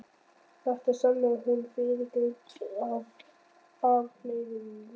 Þetta sannaði hún með fyrrgreindum afleiðingum.